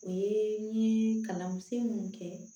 O ye n ye kalansen mun kɛ